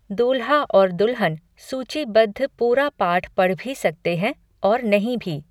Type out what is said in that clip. दूल्हा और दुल्हन सूचीबद्ध पूरा पाठ पढ़ भी सकते हैं और नहीं भी।